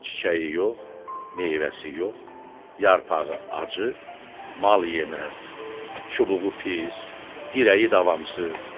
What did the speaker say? Çiçəyi yox, meyvəsi yox, yarpağı acı, mal yeməz, çubuğu pis, dirəyi davamsız.